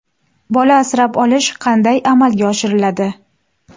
Bola asrab olish qanday amalga oshiriladi?